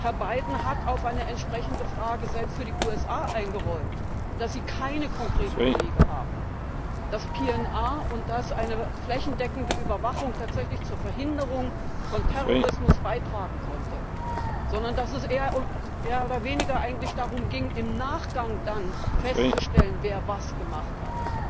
so? Herr Biden selbst hat auf eine entsprechende Frage für die USA eingeräumt, dass sie keine konkreten Belege haben, dass PNR und eine flächendeckende Überwachung tatsächlich zur Verhinderung von Terrorismus beitragen konnten, sondern dass es mehr oder weniger eigentlich darum ging, im Nachgang dann festzustellen, wer was gemacht hat.